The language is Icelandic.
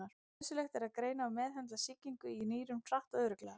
Nauðsynlegt er að greina og meðhöndla sýkingu í nýrum hratt og örugglega.